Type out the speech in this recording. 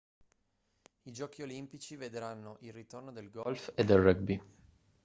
i giochi olimpici vedranno il ritorno del golf e del rugby